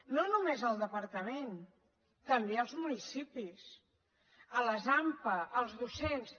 no només al departament també als municipis a les ampa als docents